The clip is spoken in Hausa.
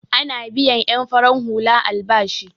Ana biyan en farar hula albashi.